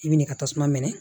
I bi n'i ka tasuma mɛnɛ